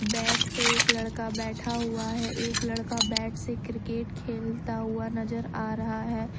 Bat पे एक लड़का बैठा हुआ है एक लड़का बैट से क्रिकेट खेलता हुआ नजर आ रहा हैं।